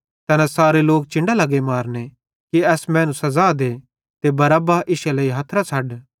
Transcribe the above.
तैना सारे लोक चिन्डां लगे मारने कि एस मैनू सज़ा देथ ते बरअब्बा इश्शे लेइ हथरां छ़ड्डा